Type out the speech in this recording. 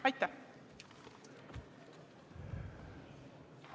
Aitäh!